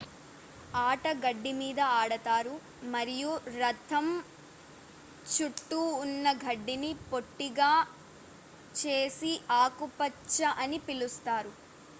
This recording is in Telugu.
ఆట గడ్డి మీద ఆడతారు మరియు రంధ్రం చుట్టూ ఉన్న గడ్డిని పొట్టిగా చేసి ఆకుపచ్చ అని పిలుస్తారు